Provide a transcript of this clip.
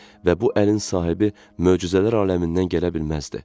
Və bu əlin sahibi möcüzələr aləmindən gələ bilməzdi.